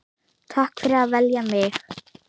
Takk fyrir að velja mig.